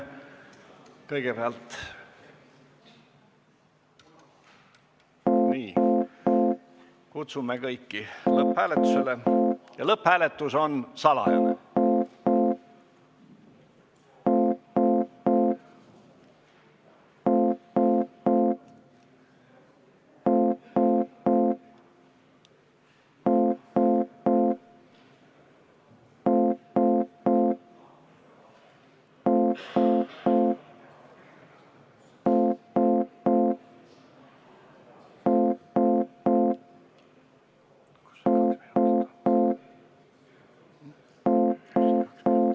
Kõigepealt kutsume kõiki lõpphääletusele ja lõpphääletus on salajane.